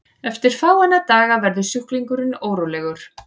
eftir fáeina daga verður sjúklingurinn órólegur